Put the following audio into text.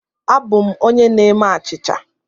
Abụ m onye na-eme achịcha.